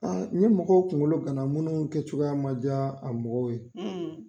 A ni mɔgɔw kungolo kana munnu kɛ cogoya ma diya a mɔgɔw ye;